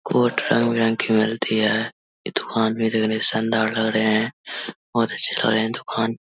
Coat रंग-बिरंग की मिलती है ये दूकान में रेहने शानदार लग रहे हैं बहोत अच्छे लग रहे हैं दुकान।